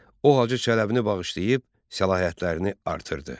O Hacı Çələbini bağışlayıb səlahiyyətlərini artırdı.